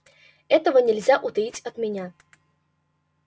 этого нельзя утаить от меня